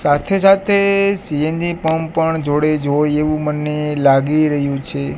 સાથે-સાથે C N G pump પણ જોડે જોઈ એવું મને લાગી રહ્યું છે.